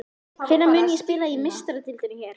Hvenær mun ég spila í Meistaradeildinni hér?